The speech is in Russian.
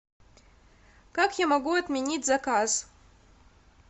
как я могу отменить заказ